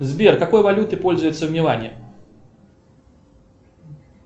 сбер какой валютой пользуются в милане